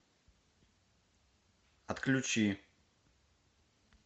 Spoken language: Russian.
отключи